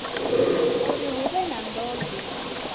uri hu vhe na ndozwo